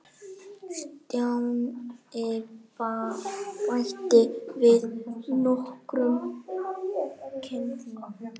Stjáni bætti við nokkrum kitlum.